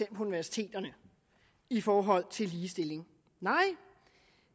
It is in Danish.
på universiteterne i forhold til ligestilling nej